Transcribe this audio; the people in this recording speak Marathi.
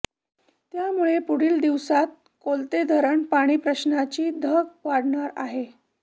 त्यामुळे पुढील दिवसात कलोते धरण पाणी प्रश्नाची धग वाढणार आहे